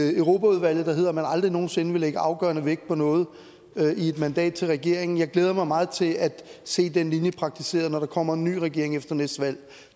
i europaudvalget at man aldrig nogen sinde vil lægge afgørende vægt på noget i et mandat til regeringen jeg glæder mig meget til at se den linje praktiseret når der kommer en ny regering efter næste valg